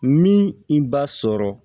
Min b'a sɔrɔ